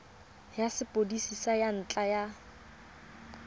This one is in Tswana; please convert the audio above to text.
ya sepodisi ka ntlha ya